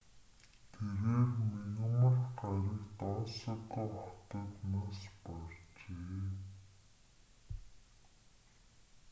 тэрээр мягмар гарагт осака хотод нас баржээ